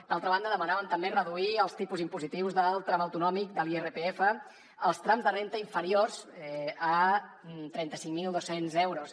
d’altra banda demanàvem també reduir els tipus impositius del tram autonòmic de l’irpf als trams de renda inferiors a trenta cinc mil dos cents euros